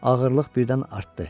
Ağırlıq birdən artdı.